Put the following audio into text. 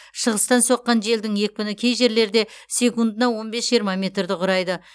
шығыстан соққан желдің екпіні кей жерлерде секундына он бес жиырма метрді құрайды